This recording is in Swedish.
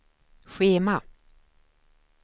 schema